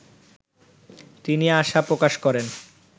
তিনি আশা প্রকাশ করেন